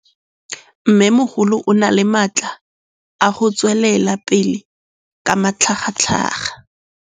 Mmêmogolo o na le matla a go tswelela pele ka matlhagatlhaga.